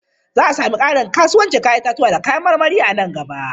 Za a sami ƙarin kasuwancin 'ya'yan itatuwa da kayan marmari a nan gaba.